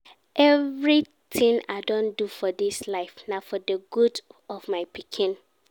Everything I don do for dis life na for the good of my pikin